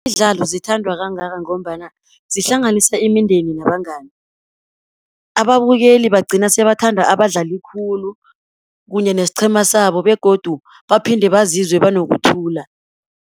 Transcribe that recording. Imidlalo zithandwa kangaka ngombana, zihlanganisa imindeni nabangani. Ababukeli bagcina sebathanda abadlali khulu, kunye nesiqhema sabo, begodu baphinde bazizwe banokuthula.